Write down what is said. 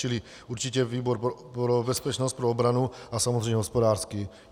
Čili určitě výbor pro bezpečnost, pro obranu a samozřejmě hospodářský.